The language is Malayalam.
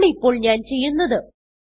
അതാണ് ഇപ്പോൾ ഞാൻ ചെയ്യുന്നത്